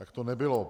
Tak to nebylo.